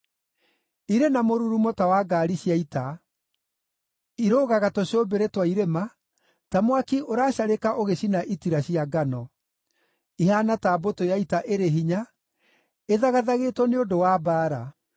Irĩ na mũrurumo ta wa ngaari cia ita; irũgaga tũcũmbĩrĩ twa irĩma ta mwaki ũracarĩka ũgĩcina itira cia ngano, ihaana ta mbũtũ ya ita ĩrĩ hinya ĩthagathagĩtwo nĩ ũndũ wa mbaara.